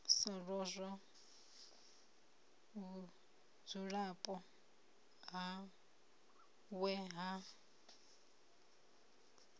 sa lozwa vhudzulapo hawe ha